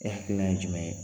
E hakilinan ye jumɛn ye?